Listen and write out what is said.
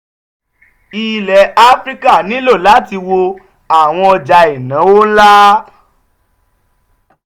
ilẹ̀ áfíríkà nílò láti wo àwọn ọjà ìnáwó nla.